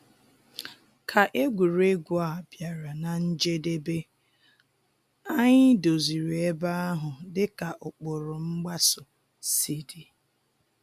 Ka egwuregwu a bịara na njedebe, anyị doziri ebe ahụ dịka ụkpụrụ mgbaso si dị